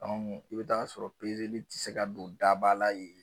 Ɔn kɛ i be t'a sɔrɔ pezeli ti se ka don dabala yen